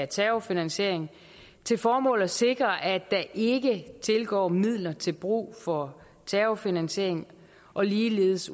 terrorfinansiering til formål at sikre at der ikke tilgår midler til brug for terrorfinansiering og ligeledes